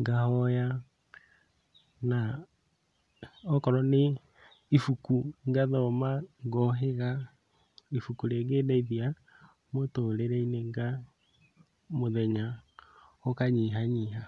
ngahoya na okorwo nĩ ibuku ngathoma ngohĩga ibuku rĩngĩndeithia mũtũrĩre-inĩ, nga mũthenya ũkanyihanyiha.